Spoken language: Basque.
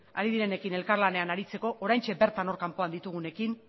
ari direnekin elkarlanean aritzeko oraintxe bertan hor kanpoan ditugunekin